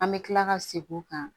An bɛ tila ka segin o kan